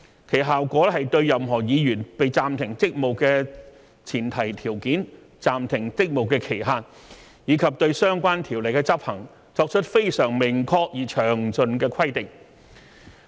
其效果是對任何議員被暫停職務的前提條件、暫停職務的期限，以及對相關條款的執行，作出非常明確而詳盡的規定。